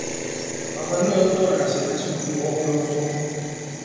Baba nĩwe ũtwaraga ciana cukuru okĩroko.